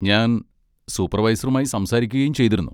ഞാൻ സൂപ്പർവൈസറുമായി സംസാരിക്കുകയും ചെയ്തിരുന്നു.